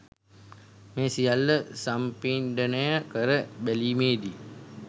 මේ සියල්ල සම්පිණ්ඩනය කර බැලීමේදි